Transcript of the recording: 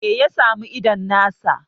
me ya samu idon nasa?